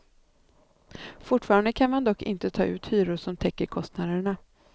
Fortfarande kan man dock inte ta ut hyror som täcker kostnaderna.